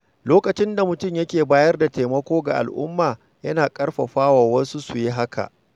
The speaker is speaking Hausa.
Lokacin da mutum yake bayar da taimako ga al’umma, yana ƙarfafa wasu su yi haka.